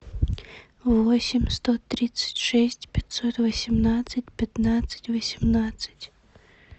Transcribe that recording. восемь сто тридцать шесть пятьсот восемнадцать пятнадцать восемнадцать